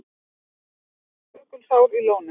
Upptök Jökulsár í Lóni.